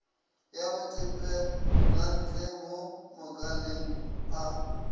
ya matpwelantle mo makaleng a